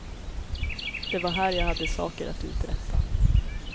Det var här jag hade saker att uträtta.